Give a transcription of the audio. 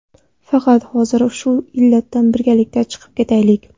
Faqat hozir shu illatdan birgalikda chiqib ketaylik.